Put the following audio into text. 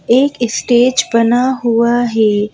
एक स्टेज बना हुआ है ।